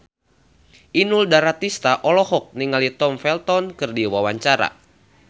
Inul Daratista olohok ningali Tom Felton keur diwawancara